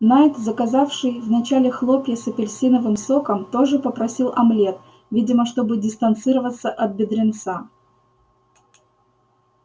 найд заказавший вначале хлопья с апельсиновым соком тоже попросил омлет видимо чтобы дистанцироваться от бедренца